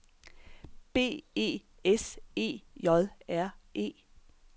B E S E J R E